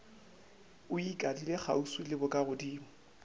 e ikadile kgauswi le bokagodimo